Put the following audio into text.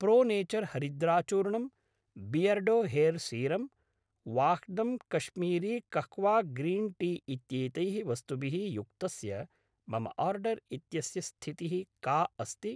Pro nature हरिद्राचूर्णम्, Beardo hair serum, Vahdam Kashmiri kahwa green tea इत्येतैः वस्तुभिः युक्तस्य मम आर्डर् इत्यस्य स्थितिः का अस्ति?